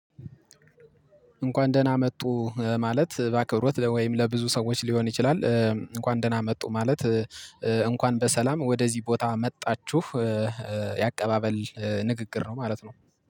እንኳን ደህና መጡ ማለት ባከብሮት ወይም ለብዙ ሰዎች ሊሆን ይችላል እንኳን ደህና መጡ ማለት እንኳን በሰላም ወደዚህ ቦታ መጣችሁ የአቀባበል ንግግር ነው ማለት ነው።